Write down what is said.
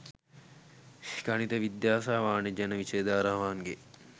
ගණිත විද්‍යා සහ වාණිජ යන විෂය ධාරාවන්ගෙන්